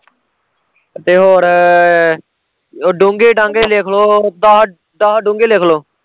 ਤੇ ਹੋਰ ਉਹ ਡੋਂਗੇ ਡਾਂਗੇ ਲਿਖਲੋ ਦਸ, ਦਸ ਡੋਂਗੇ ਲਿਖਲੋ